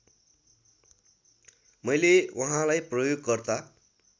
मैले वहाँलाई प्रयोगकर्ता